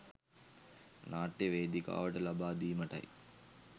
නාට්‍ය වේදිකාවට ලබා දීමටයි.